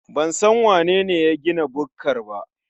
Ban san wanene ya gina bukkar ba.